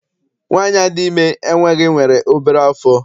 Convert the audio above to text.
Nwaanyi a dị ime enweghị nwere obere afọ.